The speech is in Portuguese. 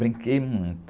Brinquei muito.